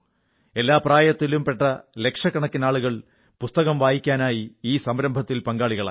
എല്ലാ പ്രായത്തിലും പെട്ട ലക്ഷക്കണക്കിനാളുകൾ പുസ്തകം വായിക്കാനായി ഈ സംരംഭത്തിൽ പങ്കാളികളായി